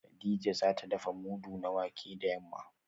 kadija za ta dafa mudu na wake da yamma